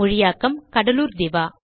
மொழியாக்கம் கடலூர் திவா